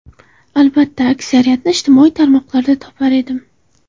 Albatta, aksariyatini ijtimoiy tarmoqlarda topar edim.